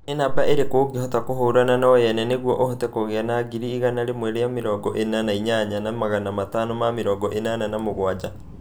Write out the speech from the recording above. Nĩ namba ĩrĩkũ ũngĩhota kũhura na yo nyene nĩguo ũhote kũgĩa na ngiri igana rĩmwe na mĩrongo ĩna na inyanya na magana matano na mĩrongo ĩnana na mũgwanja